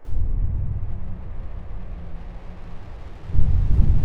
Geria tu tũone kana nĩ ĩgũkũiganĩra